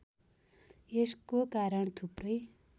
यसको कारण थुप्रै